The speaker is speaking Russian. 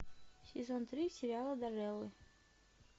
сезон три сериала дарреллы